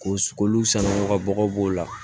Ko sukoli sanukabagaw b'o la